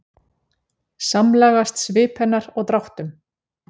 Samlagast svip hennar og dráttum.